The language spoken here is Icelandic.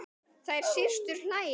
Þær systur hlæja.